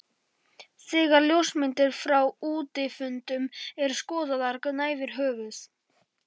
Þegar ljósmyndir frá útifundum eru skoðaðar gnæfir höfuð